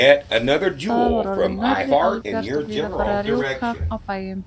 Það var orðið nærri albjart og víða farið að rjúka á bæjum.